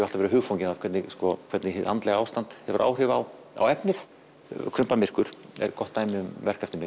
alltaf verið hugfanginn af því hvernig hvernig hið andlega ástand hefur áhrif á á efnið krumpað myrkur er dæmi um verk eftir mig